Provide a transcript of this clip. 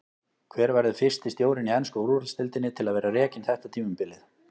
Hver verður fyrsti stjórinn í ensku úrvalsdeildinni til að vera rekinn þetta tímabilið?